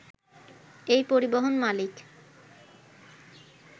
এই পরিবহন মালিক